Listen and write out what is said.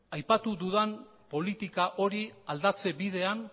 aipatu dudan politika hori aldatze bidean